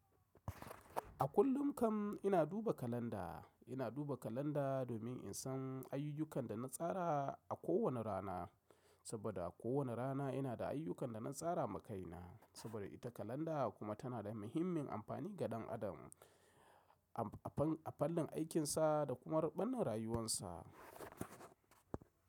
A kullum kam ina duba kalanda. Ina duba kalanda domin in san ayyukan da na tsara a kowane rana, saboda a kowane rana ina da ayyukan da na tsara ma kaina. Saboda ita kalanda kuma tana da muhimmin amfani ga ɗan adam a fan-a fannin aikinsa da kuma ruɓannin rayuwarsa.